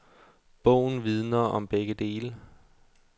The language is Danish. Bogen vidner om begge dele.